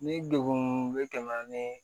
Ni degun bɛ tɛmɛ ni